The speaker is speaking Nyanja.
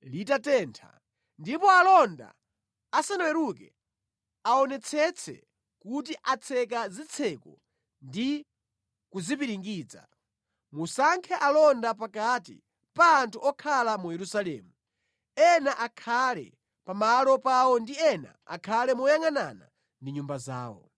litatentha, ndipo alonda asanaweruke aonetsetse kuti atseka zitseko ndi kuzipiringidza. Musankhe alonda pakati pa anthu okhala mu Yerusalemu, ena akhale pa malo pawo ndi ena akhale moyangʼanana ndi nyumba zawo.”